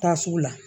Taa sugu la